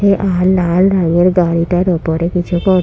এ আর লাল রঙের গাড়িটার উপরে কিছু কর--